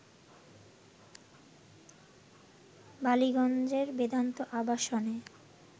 বালিগঞ্জের বেদান্ত আবাসনে